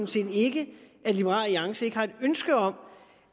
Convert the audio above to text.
set ikke at liberal alliance ikke har et ønske om